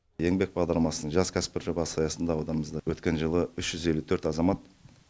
еңбек бағдарламасының жас кәсіпкер жобасы аясында ауданымызда өткен жылы үш жүз елу төрт азамат